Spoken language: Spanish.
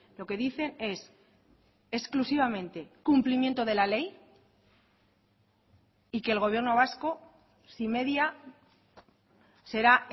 lo que dicen es exclusivamente cumplimiento de la ley y que el gobierno vasco si media será